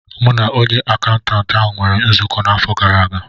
M na onye akaụntantị ahụ nwere nzukọ n'afọ gara aga